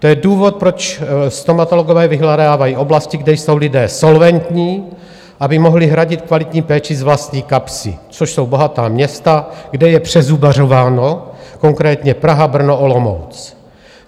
To je důvod, proč stomatologové vyhledávají oblasti, kde jsou lidé solventní, aby mohli hradit kvalitní péči z vlastní kapsy, což jsou bohatá města, kde je přezubařováno, konkrétně Praha, Brno, Olomouc.